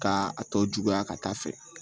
Ka a tɔ juguya ka taa fɛ